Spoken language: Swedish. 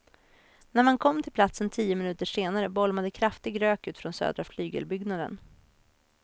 När man kom till platsen tio minuter senare bolmade kraftig rök ut från södra flygelbyggnaden.